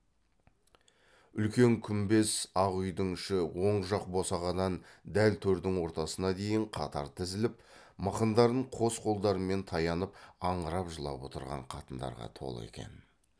үлкен күмбез ақ үйдің іші оң жақ босағадан дәл төрдің ортасына дейін қатар тізіліп мықындарын қос қолдарымен таянып аңырап жылап отырған қатындарға толы екен